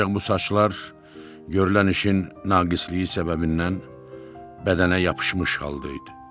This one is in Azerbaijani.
Ancaq bu saçlar görülən işin naqisliyi səbəbindən bədənə yapışmış halda idi.